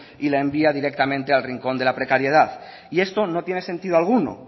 y la envía directamente al rincón de la precariedad y esto no tiene sentido alguno